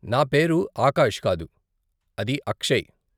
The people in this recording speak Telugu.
నా పేరు ఆకాష్ కాదు, అది అక్షయ్.